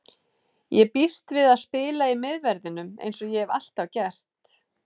Ég býst við að spila í miðverðinum eins og ég hef alltaf gert.